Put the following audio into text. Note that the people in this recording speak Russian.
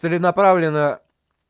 целенаправленно